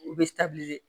U bɛ